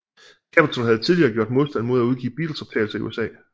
Capitol havde tidligere gjort modstand mod at udgive Beatlesoptagelser i USA